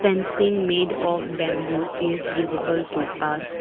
made of bamboo is visible to us.